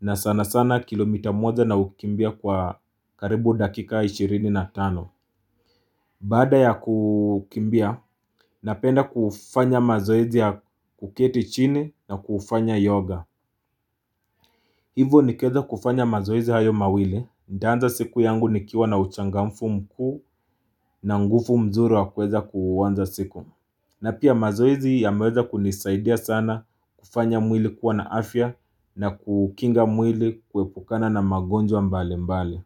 na sana sana kilomita moja na ukimbia kwa karibu dakika ishirini na tano Baada ya kukimbia, napenda kufanya mazoezi ya kuketi chini na kufanya yoga Hivo nikieza kufanya mazoezi hayo mawili, nitaanza siku yangu nikiwa na uchangamfu mkuu na nguvu mzuri wa kueza kuanza siku na pia mazoezi ya maweza kunisaidia sana kufanya mwili kuwa na afya na kukinga mwili kuepukana na magonjwa mbali mbali.